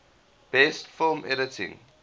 best film editing